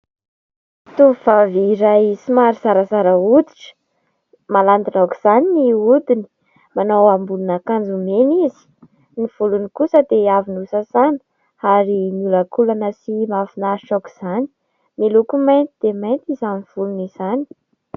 Tovovavy iray somary zarazara hoditra. Malandina aoka izany ny hodiny. Manao ambonin'akanjo mena izy ; ny volony kosa dia avy nosasàna ary miholankolana sy mahafinaritra aoka izany. Miloko mainty dia mainty izany volony izany.